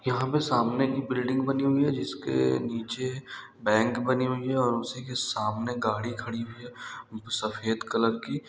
यहां पर सामने एक बिल्डिंग बनी हुई है जिसक नीचे बैंक बनी हुई और उसी सामने गाड़ी खड़ी हुई है सफेद कलर की--